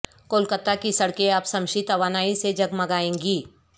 کولکاتا کی سڑکیں اب شمسی توانائی سے جگمگائیں گی